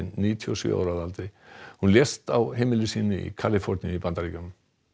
níutíu og sjö ára að aldri hún lést á heimili sínu í Kaliforníu í Bandaríkjunum